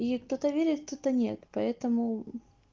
и кто-то верит кто-то нет поэтому